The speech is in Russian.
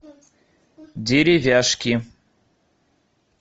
деревяшки